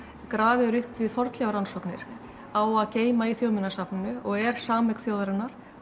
grafið er upp við fornleifarannsóknir á að geyma í Þjóðminjasafninu og er sameign þjóðarinnar